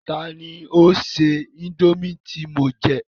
Tani ó se indomie tí mo jẹ?